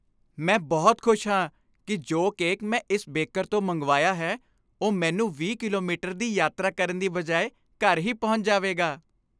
ਮੈਂ ਬਹੁਤ ਖੁਸ਼ ਹਾਂ ਕਿ ਜੋ ਕੇਕ ਮੈਂ ਇਸ ਬੇਕਰ ਤੋਂ ਮੰਗਵਾਇਆ ਹੈ, ਉਹ ਮੈਨੂੰ 20 ਕਿਲੋਮੀਟਰ ਦੀ ਯਾਤਰਾ ਕਰਨ ਦੀ ਬਜਾਏ ਘਰ ਹੀ ਪਹੁੰਚ ਜਾਵੇਗਾ।